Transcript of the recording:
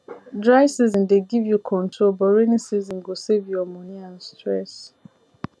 dry season dey give you control but rainy season go save your money and stress